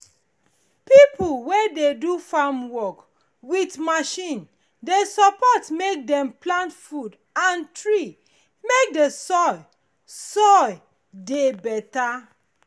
pipo wey dey do farm work with machine dey support mek dem plant food and tree mek de soil soil dey better